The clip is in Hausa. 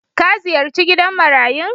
Ka ziyarci gidan marayun.